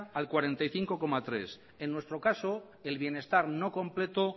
al cuarenta y cinco coma tres por ciento en nuestro caso el bienestar no completo